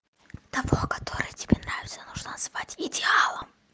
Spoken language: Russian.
того который тебе нравится нужно звать идеалом